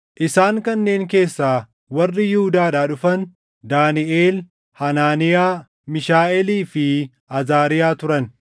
Isaan kanneen keessaa warri Yihuudaadhaa dhufan Daaniʼel, Hanaaniyaa, Miishaaʼeelii fi Azaariyaa turan.